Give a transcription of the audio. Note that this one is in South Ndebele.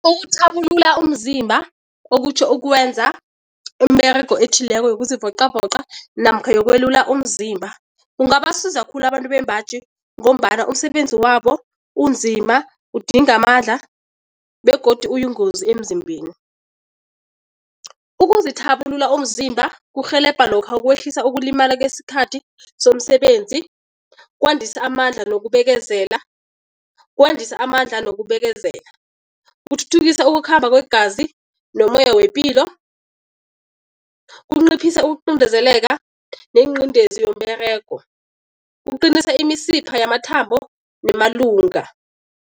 Ukuthabulula umzimba, okutjho ukwenza umberego ethileko yokuzivoqavoqa namkha yokwelula umzimba kungabasiza khulu abantu bembaji ngombana umsebenzi wabo unzima, udinga amandla begodu uyingozi emzimbeni. Ukuzithabulula umzimba kurhelebha lokha ukwehlisa ukulimala kesikhathi somsebenzi, kwandisa amandla nokubekezela, kwandisa amandla nokubekezela. Kuthuthuthukisa ukukhamba kwegazi nomoya wepilo, kunciphisa ukuqindezeleka nenqindezi yomberego, kuqinisa imisipha yamathambo nemalunga.